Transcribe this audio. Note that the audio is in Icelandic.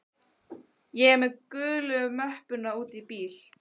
Ég er með gulu möppuna úti í bíl.